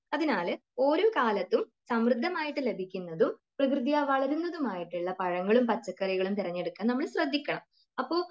അതിനാൽ ഓരോ കാലത്തും സമൃദ്ധമായിട്ട് ലഭിക്കുന്നതും പ്രകൃതിയാ വളരുന്നതുമായിട്ടുള്ള പഴങ്ങളും പച്ചക്കറികളും തിരഞ്ഞെടുക്കാൻ നമ്മൾ ശ്രദ്ധിക്കണം അപ്പോൾ